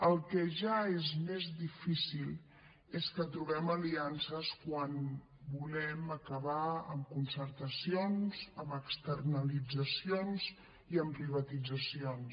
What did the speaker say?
el que ja és més difícil és que trobem aliances quan volem acabar amb concertacions amb externalitzacions i amb privatitzacions